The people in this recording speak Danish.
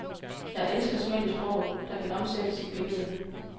Jeg elsker smæld i sproget, der kan omsættes i billede.